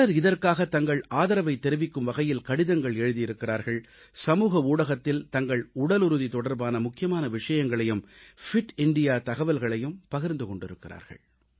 பலர் இதற்காகத் தங்கள் ஆதரவைத் தெரிவிக்கும் வகையில் கடிதங்கள் எழுதியிருக்கிறார்கள் சமூக ஊடகத்தில் தங்கள் உடலுறுதி தொடர்பான முக்கியமான விஷயங்களையும் ஃபிட் இந்தியா தகவல்களையும் பகிர்ந்து கொண்டிருக்கிறார்கள்